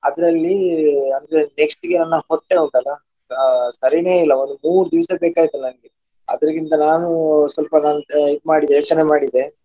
ಅದ್ರಲ್ಲಿ ಅಂದ್ರೆ next ಗೆ ನನ್ನ ಹೊಟ್ಟೆ ಉಂಟಲ್ಲ ಅಹ್ ಸರೀನೇ ಇಲ್ಲ ಒಂದು ಮೂರು ದಿವ್ಸ ಬೇಕಾಯಿತು ನಂಗೆ ಅದ್ರಕ್ಕಿಂತ ನಾನು ಸ್ವಲ್ಪ ನಾನು ಇದ್ ಮಾಡಿದೆ ಯೋಚನೆ ಮಾಡಿದೆ.